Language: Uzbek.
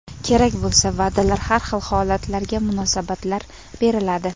Kerak bo‘lsa, va’dalar, har xil holatlarga munosabatlar beriladi.